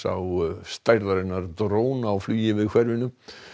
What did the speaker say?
stærðarinnar dróna var flogið yfir hverfið